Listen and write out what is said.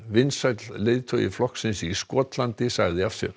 vinsæll leiðtogi flokksins í Skotlandi sagði af sér